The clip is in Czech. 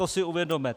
To si uvědomme.